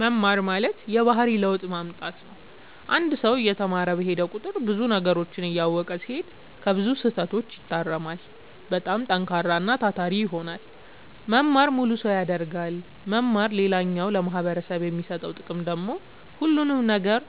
መማር ማለት የባህሪ ለውጥ ማምጣት ነው አንድ ሰው እየተማረ በሄደ ቁጥር ብዙ ነገሮችን እያወቀ ሲሄድ ከብዙ ስህተቶች ይታረማል በጣም ጠንካራና ታታሪ ይሆናል መማር ሙሉ ሰው ያደርጋል መማር ሌላኛው ለማህበረሰቡ የሚሰጠው ጥቅም ደግሞ ሁሉንም ነገር